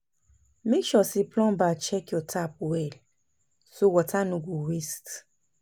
Make sure say plumber check your tap well, so water no go waste.